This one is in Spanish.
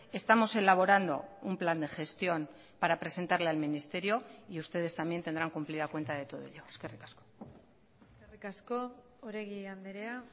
estamos elaborando un plan de gestión para presentarle al ministerio y ustedes también tendrán cumplida cuenta de todo ello eskerrik asko eskerrik asko oregi andrea